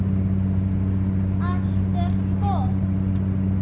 Allt er gott!